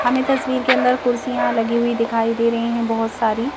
हमें तस्वीर के अंदर कुर्सियां लगी हुई दिखाई दे रही हैं बहुत सारी।